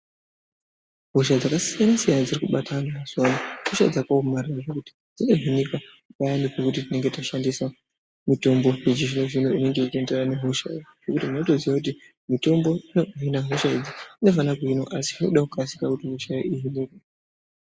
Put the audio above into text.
Hosha dzakasiyana siyana dziri kubata antu mazuwa ano ihosha dzakaomarara zvekuti. Dzinohinika nekuda kwekuti tinenge tashandisa mutombo yechizvino zvino inenge ichienderana nehosha. Totoziya kuti mutombo inohina hosha idzi asi zvinoda kukasira